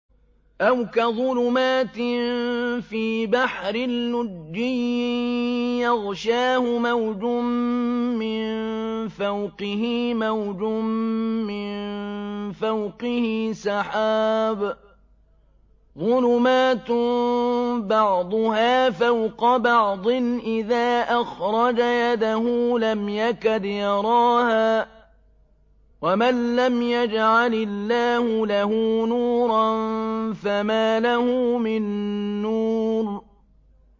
أَوْ كَظُلُمَاتٍ فِي بَحْرٍ لُّجِّيٍّ يَغْشَاهُ مَوْجٌ مِّن فَوْقِهِ مَوْجٌ مِّن فَوْقِهِ سَحَابٌ ۚ ظُلُمَاتٌ بَعْضُهَا فَوْقَ بَعْضٍ إِذَا أَخْرَجَ يَدَهُ لَمْ يَكَدْ يَرَاهَا ۗ وَمَن لَّمْ يَجْعَلِ اللَّهُ لَهُ نُورًا فَمَا لَهُ مِن نُّورٍ